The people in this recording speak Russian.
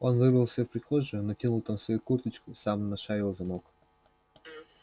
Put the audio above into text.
он выбрался в прихожую натянул там свою курточку сам нашарил замок